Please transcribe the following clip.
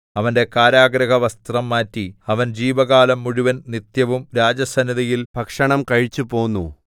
അവന്റെ കാരാഗൃഹവസ്ത്രം മാറ്റി അവൻ ജീവകാലം മുഴുവൻ നിത്യവും രാജസന്നിധിയിൽ ഭക്ഷണം കഴിച്ചുപോന്നു